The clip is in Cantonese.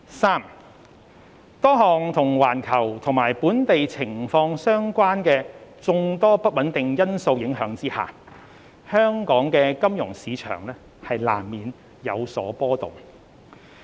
三多項與環球及本地情況相關的眾多不穩定因素影響下，香港的金融市場難免有所波動。